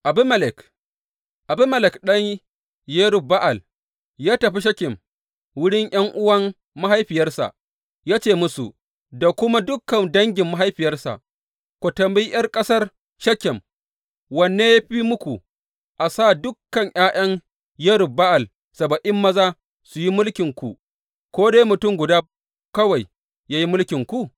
Abimelek Abimelek ɗan Yerub Ba’al ya tafi Shekem wurin ’yan’uwan mahaifiyarsa, ya ce musu da kuma dukan dangin mahaifiyarsa, Ku tambayi ’yan ƙasar Shekem, Wanne ya fi muku, a sa dukan ’ya’yan Yerub Ba’al saba’in maza su yi mulkinku, ko dai mutum guda kawai yă yi mulkinku?’